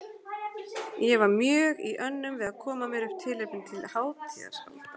Ég var mjög í önnum við að koma mér upp tilefnum til hátíðahalda.